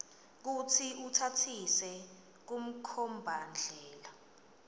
kutsi utsatsise kumkhombandlela